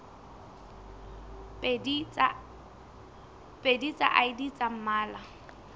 pedi tsa id tsa mmala